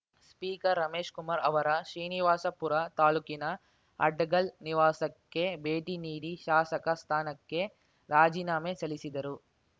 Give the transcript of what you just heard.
speaker Ramesh Kumar ಅವರ ಶ್ರೀನಿವಾಸಪುರ ತಾಲ್ಲೂಕಿನ ಅಡ್ಡಗಲ್ ನಿವಾಸಕ್ಕೆ ಭೇಟಿನೀಡಿ ಶಾಸಕ ಸ್ಥಾನಕ್ಕೆ ರಾಜೀನಾಮೆ ಸಲ್ಲಿಸಿದರು